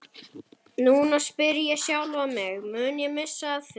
Núna spyr ég sjálfan mig, mun ég missa af því?